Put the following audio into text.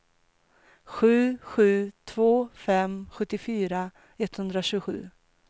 sju sju två fem sjuttiofyra etthundratjugosju